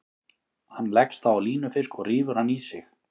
Hann leggst þá á línufisk og rífur hann í sig.